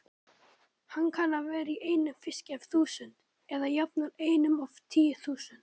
Hann kann að vera í einum fiski af þúsund, eða jafnvel einum af tíu þúsund.